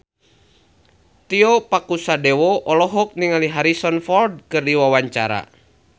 Tio Pakusadewo olohok ningali Harrison Ford keur diwawancara